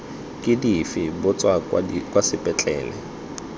ke dife botsa kwa sepetlele